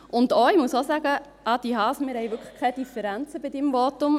Ich muss auch sagen: Adrian Haas, wir haben wirklich keine Differenzen zu Ihrem Votum.